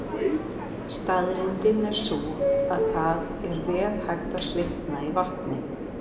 Staðreyndin er sú að það er vel hægt að svitna í vatni.